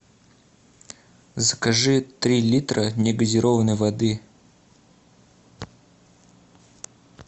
закажи три литра негазированной воды